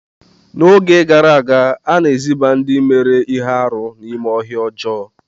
N'oge gara aga, a na-eziba ndị mere ihe arụ n'ime ọhịa ọjọọ.